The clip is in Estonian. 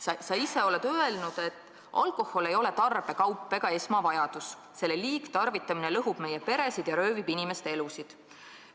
Sa ise oled öelnud, et alkohol ei ole tarbekaup ega esmavajadus, selle liigne tarvitamine lõhub meie peresid ja röövib inimeste elusid.